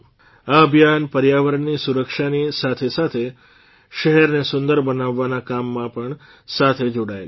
આ અભિયાન પર્યાવરણની સુરક્ષાની સાથેસાથે શહેરને સુંદર બનાવવાના કામ સાથે પણ જોડાયેલું છે